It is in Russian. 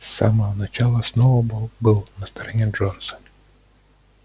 с самого начала сноуболл был на стороне джонса